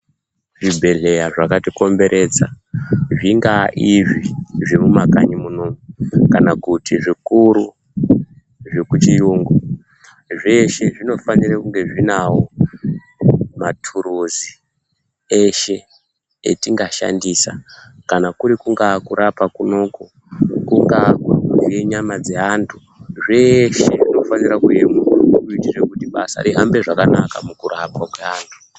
Zvibhedhleya zvakatikomberedza zvingaa izvi zviri mumakanyi munomu kana kuti zvikuru zvekuchiyungu. Zveshe zvinofanire kunge zvinawo mathuruzi eshe atingashandisa kana kungaa kurapa kunoku, kungaa kuvhiye nyama dzeantu. Zveshe zvinofanira kureruka kuitira kuti basa rihambe zvakanaka mukurapwa kweanhu.